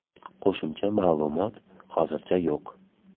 Qo‘shimcha ma’lumot hozircha yo‘q.